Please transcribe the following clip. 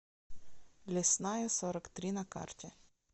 лесная сорок три на карте